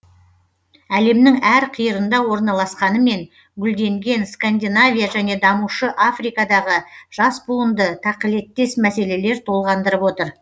әлемнің әр қиырында орналасқанымен гүлденген скандинавия және дамушы африкадағы жас буынды тақылеттес мәселелер толғандырып отыр